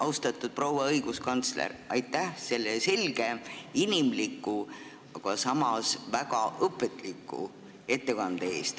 Austatud proua õiguskantsler, aitäh selle selge, inimliku, aga samas väga õpetliku ettekande eest!